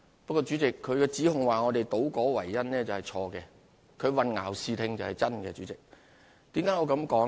不過，主席，他指控我們倒果為因，是錯誤的；他混淆視聽，倒是真的。